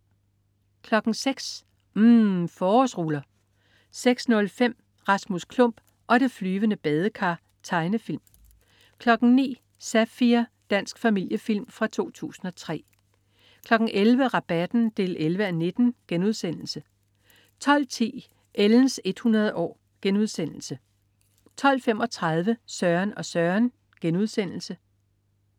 06.00 UMM. Forårsruller 06.05 Rasmus Klump og det flyvende badekar. Tegnefilm 09.00 Zafir. Dansk familiefilm fra 2003 11.00 Rabatten 11:19* 12.10 Ellens 100 år* 12.35 Søren og Søren*